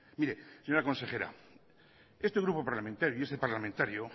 mire señora consejera este grupo parlamentario y este parlamentario